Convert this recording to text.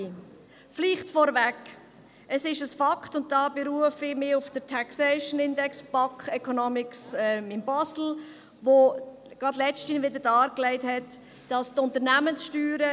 Vielleicht vorweg: Es ist ein Fakt, dass die Unternehmenssteuern in der Schweiz deutlich – ich betone: deutlich – tiefer sind als der internationale Durchschnitt.